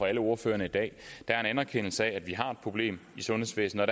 alle ordførerne i dag der er en anerkendelse af at vi har et problem i sundhedsvæsenet